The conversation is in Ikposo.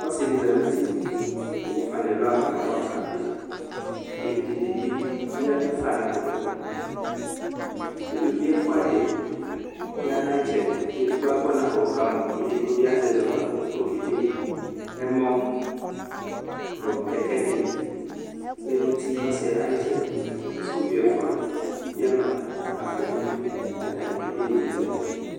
ɔsidi sanu uti ku emufa nu ɛlu ɣafa nu ava ku ɔkabi Evidze dibi yadufa nu aduku uluvi ɛfua di yanu ayiʋ itsɛdi edigbo agbɔ ɔnakɔ ku ɔka mɔ edigbo bi azɛ azɔkpako ku okedeɛmɔ nu kɛkɛ ɖi lɛnu uti nu ɔsiɛ ayiʋ itsɛdi ku sukuvi ɛfua bi ama akpo nu idu ,ku atani akede yeyezɛlɛ